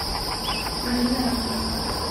марина романовна